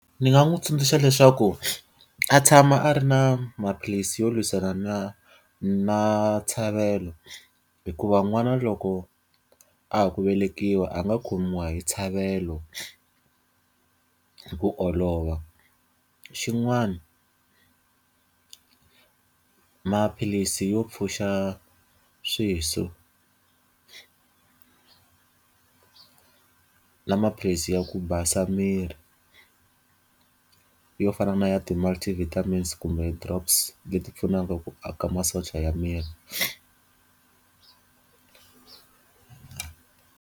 Ndzi nga n'wi tsundzuxa leswaku a tshama a ri na maphilisi yo lwisana na na hikuva n'wana loko a ha ku velekiwa a nga khomiwa hi hi ku olova. Xin'wana maphilisi yo pfuxa swiso na maphilisi ya ku basa miri. Yo fana na ya ti-multivitamins kumbe ti-drops leti pfunaka ku aka masocha ya miri.